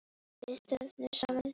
Við stöndum saman!